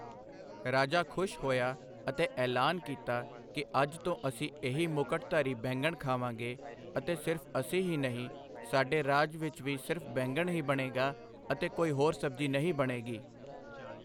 ਰਾਜਾ ਖੁਸ਼ ਹੋਇਆ ਅਤੇ ਐਲਾਨ ਕੀਤਾ ਕਿ ਅੱਜ ਤੋਂ ਅਸੀਂ ਇਹੀ ਮੁਕਟਧਾਰੀ ਬੈਂਗਣ ਖਾਵਾਂਗੇ ਅਤੇ ਸਿਰਫ ਅਸੀਂ ਹੀ ਨਹੀਂ, ਸਾਡੇ ਰਾਜ ਵਿੱਚ ਵੀ ਸਿਰਫ ਬੈਂਗਣ ਹੀ ਬਣੇਗਾ ਅਤੇ ਕੋਈ ਹੋਰ ਸਬਜ਼ੀ ਨਹੀਂ ਬਣੇਗੀ।